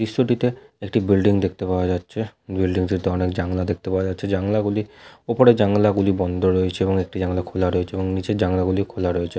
দৃশ্য টিতে একটি বিল্ডিং দেখতে পাওয়া যাচ্ছে। বিল্ডিং টিতে অনেক জানলা দেখতে পাওয়া যাচ্ছে। জানলা গুলি ওপরের জানলা গুলি বন্ধ রয়েছে এবং একটি জানলা খোলা রয়েছে এবং নিচের জানলা গুলি খোলা রয়েছে।